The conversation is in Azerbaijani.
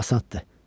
O asandır.